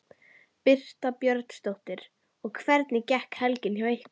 Birta Björnsdóttir: Og hvernig gekk helgin hjá ykkur?